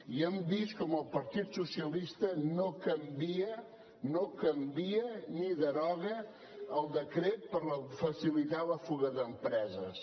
i hem vist com el partit socialista no canvia ni deroga el decret per facilitar la fuga d’empreses